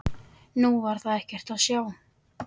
Nú var þar ekkert að sjá.